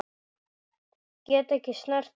Get ekki snert hana.